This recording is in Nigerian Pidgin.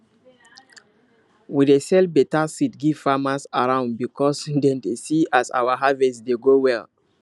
we dey sell better seed give farmers around because dem dey see as our harvest dey go well